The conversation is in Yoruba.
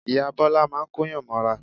Ìyá Bọ́lá máa ń Kóyàn mọ́ra